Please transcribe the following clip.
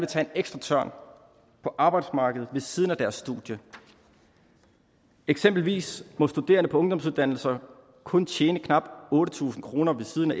tage en ekstra tørn på arbejdsmarkedet ved siden af deres studie eksempelvis må studerende på ungdomsuddannelser kun tjene knap otte tusind kroner ved siden